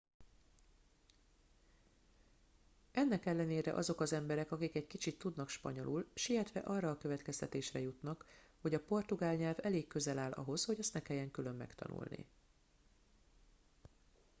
ennek ellenére azok az emberek akik egy kicsit tudnak spanyolul sietve arra a következtetésre jutnak hogy a portugál nyelv elég közel áll ahhoz hogy azt ne kelljen külön megtanulni